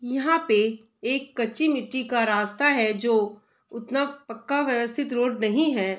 यहां पे एक कच्ची मिट्टी का रास्ता है जो उतना पक्का व्यवस्थित रोड नहीं है।